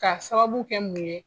Ka sababu kɛ mun ye?